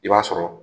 I b'a sɔrɔ